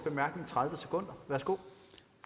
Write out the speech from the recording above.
eller om